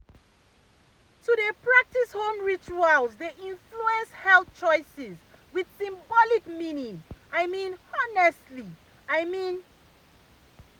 to dey practice home rituals dey influence health choices with symbolic meaning i mean honestly i mean.